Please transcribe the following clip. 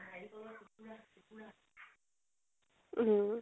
উম